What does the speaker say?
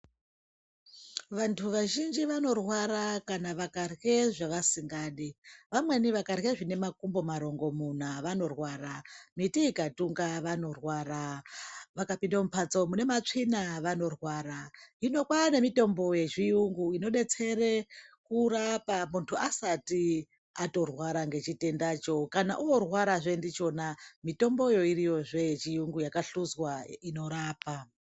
vandu vazhinji vanorwara kana vakarwe zvavasingadi vamweni vakarwe zvine makumbo marongomuna , miti ikatunga vanorwara vakapinda mupatso mune matsvina vanorwara , hino kwane mitombo yezviyungu inobetsere kurapa mundu asati atorwara nechitendacho kana orwara ndichona mitombo iriyozve yechiyungu yakashuzwa inorapa.